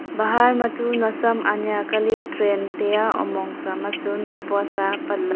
bahar ma tu nowsam anyia kya li train tai a omong sa ma chu maipua sa apat--